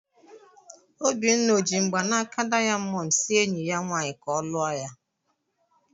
Obinna ọ ji mgbanaka dayamondu si enyi ya nwanyị ka ọ lụọ ya?